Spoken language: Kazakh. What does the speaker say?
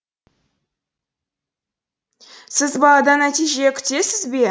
сіз баладан нәтиже күтесіз бе